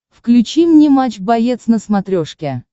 включи мне матч боец на смотрешке